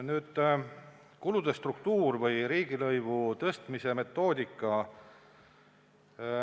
Nii, kulude struktuur ja riigilõivu tõstmise metoodika.